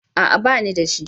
A'a banida shi